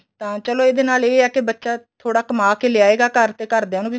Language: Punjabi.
ਤਾਂ ਇਹਦੇ ਨਾਲ ਇਹ ਏ ਕੇ ਬੱਚਾ ਥੋੜਾ ਕਮਾ ਕੇ ਲਿਆਏਗਾ ਘਰ ਤੇ ਘਰਦਿਆ ਨੂੰ ਵੀ